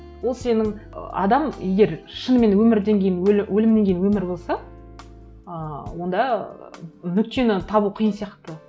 ол сенің ы адам егер шынымен өмірден кейін өлімнен кейін өмір болса ы онда нүктені табу қиын сияқты